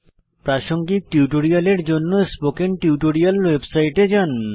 প্রাসঙ্গিক টিউটোরিয়ালের জন্য স্পোকেন টিউটোরিয়াল ওয়েবসাইটে যান